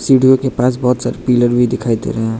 सिंडी ओ के पास बहोत सारे पिलर भी दिखाई दे रहे हैं।